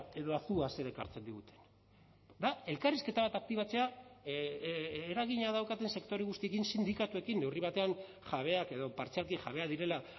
edo azua zer ekartzen digute da elkarrizketa bat aktibatzea eragina daukaten sektore guztiekin sindikatuekin neurri batean jabeak edo partzialki jabeak direla